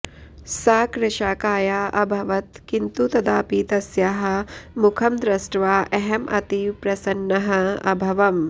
सा कृशाकाया अभवत् किन्तु तदापि तस्याः मुखं दृष्ट्वा अहम् अतीव प्रसन्नः अभवम्